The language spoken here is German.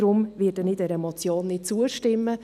Deshalb werde ich dieser Motion nicht zustimmen.